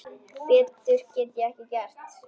Betur get ég ekki gert.